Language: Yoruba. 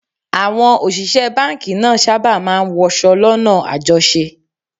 Àwọn òṣìṣẹ́ báńkì náà sábà máa ń wọṣọ lọ́nà àjọṣe